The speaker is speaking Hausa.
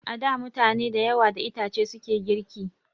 A da mutane da yawa da itace suke girki